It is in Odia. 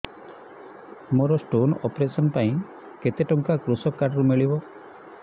ମୋର ସ୍ଟୋନ୍ ଅପେରସନ ପାଇଁ କେତେ ଟଙ୍କା କୃଷକ କାର୍ଡ ରୁ ମିଳିବ